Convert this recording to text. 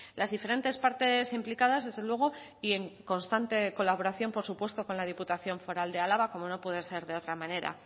las diferentes partes implicadas desde luego y en constante colaboración por supuesto con la diputación foral de álava como no puede ser de otra manera